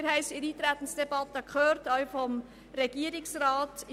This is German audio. Wir haben es in der Eintretensdebatte auch vom Regierungsrat gehört: